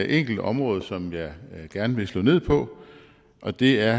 enkelt område som jeg gerne vil slå ned på og det er